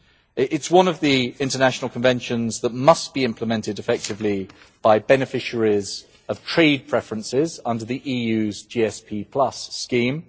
It is one of the international conventions that must be implemented effectively by beneficiaries of trade preferences under the EU's GSP scheme.